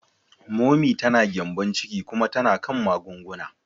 Momi ta da gyembon ciki kuma tana kan magunguna.